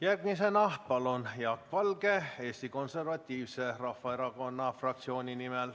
Järgmisena Jaak Valge Eesti Konservatiivse Rahvaerakonna fraktsiooni nimel.